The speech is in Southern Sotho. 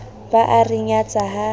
ba a re nyatsa ha